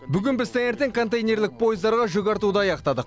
бүгін біз таңертең контейнерлік пойыздарға жүк артуды аяқтадық